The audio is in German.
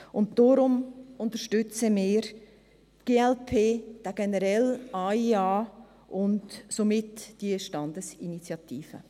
Deshalb unterstützen wir, die glp, den generellen AIA und somit diese Standesinitiative.